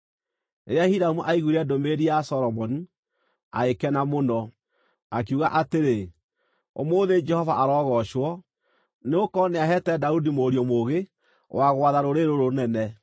Rĩrĩa Hiramu aiguire ndũmĩrĩri ya Solomoni, agĩkena mũno, akiuga atĩrĩ, “Ũmũthĩ Jehova arogoocwo, nĩgũkorwo nĩaheete Daudi mũriũ mũũgĩ wa gwatha rũrĩrĩ rũrũ rũnene.”